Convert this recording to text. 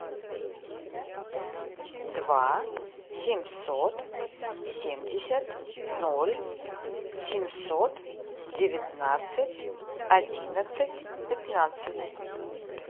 два семьсот семьдесят ноль семьсот девятнадцать одиннадцать пятнадцать